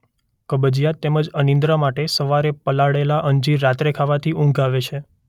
કબજિયાત તેમ જ અનિદ્રા માટે સવારે પલાળેલાં અંજીર રાત્રે ખાવાથી ઊંઘ આવે છે.